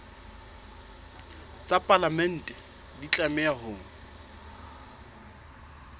tsa palamente di tlameha ho